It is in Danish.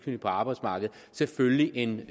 arbejdsmarkedet selvfølgelig en